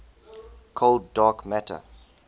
cold dark matter